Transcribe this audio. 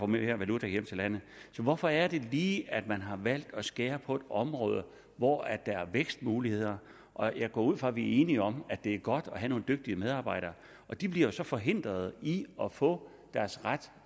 mere valuta hjem til landet så hvorfor er det lige at man har valgt at skære ned på et område hvor der er vækstmuligheder jeg går ud fra at vi er enige om at det er godt at have nogle dygtige medarbejdere og de bliver jo så forhindret i at få deres ret